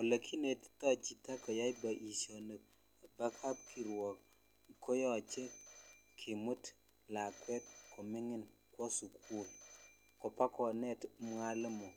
Olekinetito chito koyai boishoni bo kapkirwok koyoche kimut lakwet koming'in kwo sukul kobakonet mwalimu